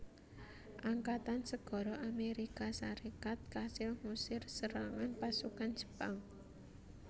Angkatan Segara Amérika Sarékat kasil ngusir serangan pasukan Jepang